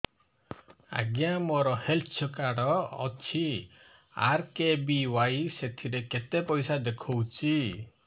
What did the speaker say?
ଆଜ୍ଞା ମୋର health card ଅଛି ଆର୍.କେ.ବି.ୱାଇ ସେଥିରେ କେତେ ପଇସା ଦେଖଉଛି